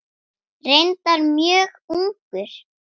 Reyndar mjög ungur.